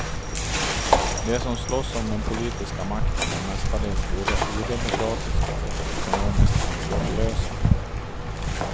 De som slåss om den politiska makten är mestadels både odemokratiska och ekonomiskt ansvarslösa.